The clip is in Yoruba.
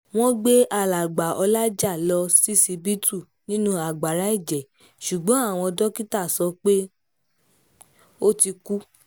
wọ́n gbé alàgbà ọlajà lọ ṣíṣíbítú nínú agbára ẹ̀jẹ̀ ṣùgbọ́n àwọn dókítà sọ pé ó ti kú